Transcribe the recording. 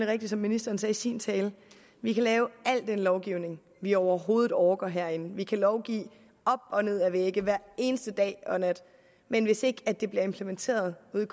rigtigt som ministeren sagde i sin tale at vi kan lave al den lovgivning vi overhovedet orker herinde vi kan lovgive op og ned ad vægge hver eneste dag og nat men hvis ikke det bliver implementeret ude